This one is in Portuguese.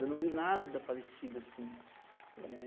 Eu não li nada parecido assim. É...